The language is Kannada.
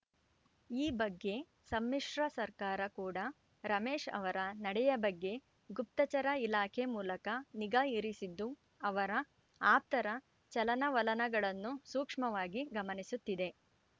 ಈ ಬಗ್ಗೆ ಸಮ್ಮಿಶ್ರ ಸರ್ಕಾರ ಕೂಡ ರಮೇಶ್‌ ಅವರ ನಡೆಯ ಬಗ್ಗೆ ಗುಪ್ತಚರ ಇಲಾಖೆ ಮೂಲಕ ನಿಗಾ ಇರಿಸಿದ್ದು ಅವರ ಆಪ್ತರ ಚಲನವಲನಗಳನ್ನು ಸೂಕ್ಷ್ಮವಾಗಿ ಗಮನಿಸುತ್ತಿದೆ